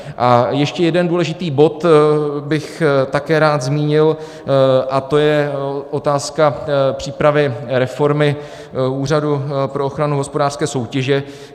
A ještě jeden důležitý bod bych také rád zmínil a to je otázka přípravy reformy Úřadu pro ochranu hospodářské soutěže.